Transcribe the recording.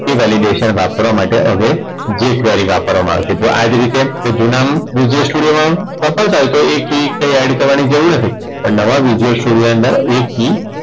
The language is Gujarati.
એ validation વાપરવા માટે હવે જે query વાપરવામાં આવે આ જ રીતે હવે જૂનામાં visual video વાપરતાં હોય તો એ key એડ કરવાની જરૂર નથી પણ નવા visual video ની અંદર એ key